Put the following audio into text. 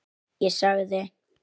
Ég sagði